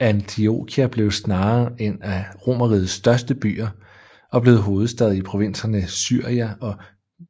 Antiokia blev senere en af Romerrigets største byer og blev hovedstad i provinserne Syria og